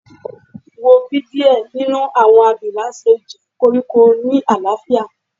Wo bi diẹ ninu awọn abila ṣe njẹ koriko ni alaafia